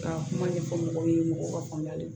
Ka kuma ɲɛfɔ mɔgɔw ye mɔgɔw ka faamuyali ye